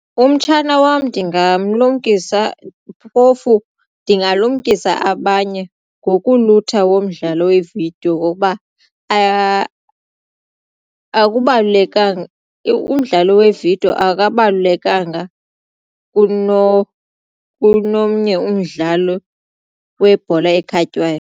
Umtshana wam ndingamlumkisa phofu ndingalumkisa abanye ngokulutha womdlalo we-video ngokuba akubalulekanga umdlalo we-video akabalulekanga kunomnye umdlalo webhola ekhatywayo.